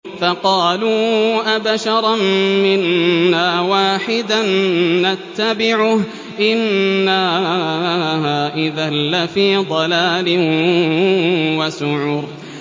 فَقَالُوا أَبَشَرًا مِّنَّا وَاحِدًا نَّتَّبِعُهُ إِنَّا إِذًا لَّفِي ضَلَالٍ وَسُعُرٍ